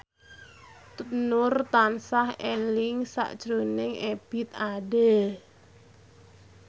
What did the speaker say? Nur tansah eling sakjroning Ebith Ade